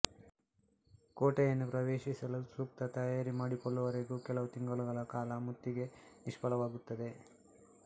ಕೋಟೆಯನ್ನು ಪ್ರವೇಶಿಸಲು ಸೂಕ್ತ ತಯಾರಿಯನ್ನು ಮಾಡಿಕೊಳ್ಳುವವರೆಗೂ ಕೆಲವು ತಿಂಗಳುಗಳ ಕಾಲ ಮುತ್ತಿಗೆ ನಿಷ್ಫಲವಾಗುತ್ತದೆ